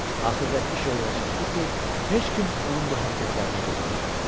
Axırda iş o yerə çatdı ki, heç kim onun bu hərəkətlərinə dözə bilmədi.